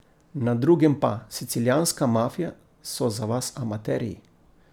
Na drugem pa: 'Sicilijanska mafija so za vas amaterji'.